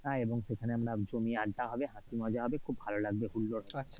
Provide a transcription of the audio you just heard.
এবং সেখানে আমরা জমিয়ে আড্ডা হবে, হাসি মজা হবে, খুব ভালো লাগবে, হুল্লোড়